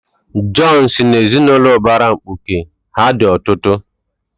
Jọn si n'ezinụlọ ụbara mkpuke, ha dị ọtụtụ.